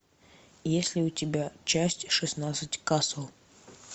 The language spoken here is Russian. есть ли у тебя часть шестнадцать касл